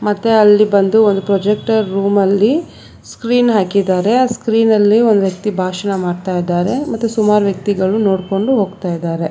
ಮತ್ತೆ ಅಲ್ಲಿ ಬಂದು ಒಂದು ಪ್ರಾಜೆಕ್ಟರ್ ರೂಮಲ್ಲಿ ಸ್ಕ್ರೀನ್ ಹಾಕಿದ್ದಾರೆ ಆ ಸ್ಕ್ರೀನಲ್ಲಿ ಒಂದು ವ್ಯಕ್ತಿ ಭಾಷಣ ಮಾಡ್ತಾ ಇದ್ದಾರೆ ಮತ್ತು ಸುಮಾರು ವ್ಯಕ್ತಿಗಳು ನೋಡಿಕೊಂಡು ಹೋಗ್ತಾ ಇದ್ದಾರೆ.